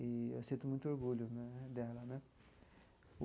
E eu sinto muito orgulho né dela, né?